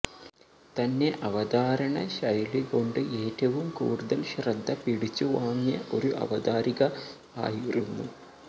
തന്നെ അവധാരണ ശൈലികൊണ്ട് ഏറ്റവും കൂടുതൽ ശ്രദ്ധ പിടിച്ചു വാങ്ങിയ ഒരു അവതാരിക ആയിരുന്നു